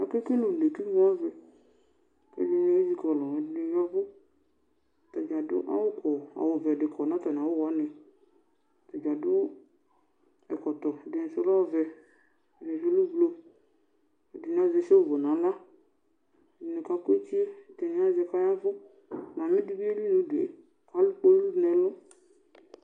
Akekele une kʋ ime avɛ, ɛdini ezikɔlʋ kʋ ɛdini ya ɛvʋ kʋ ɛdini adʋ awʋvɛ kɔ nʋ atami awʋ wani ɛdini adʋ ɛkɔtɔ. Ɛdisʋ lɛ ɔvɛ, ɛdibi lɛ ʋblʋ, ɛdini azɛ shivʋ nʋ aɣla, ɛdini kakʋ etie ɛdini azɛ kʋ ɔya ɛvʋ atami ɛdibi eli nʋ ʋdʋe kʋ alʋ kpolʋ nʋ ɛlʋ.